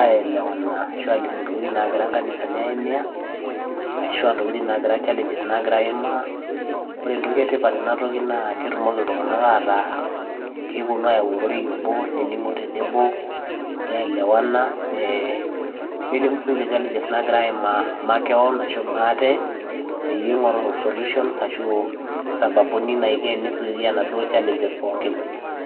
aielewana ashu aalimu ntokitin naagira nkanisani aimia, ashu a ntokitin nagira challenges naagira aimaa. Ore entoki e tipat tenatoki naa ketumoki iltung'anak ataa keponu ayau ororei obo, nening'o tenebo, ne elewana, nee nelimu siinje challenges naagira aimaa makeon ashu maate peyie ing'oru solutions ashu o sababu ni naiko eni zuia naduo challenges pookin.